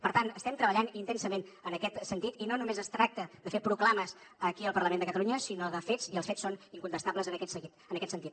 per tant estem treballant intensament en aquest sentit i no només es tracta de fer proclames aquí al parlament de catalunya sinó de fets i els fets són incontestables en aquest sentit